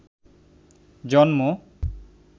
জন্ম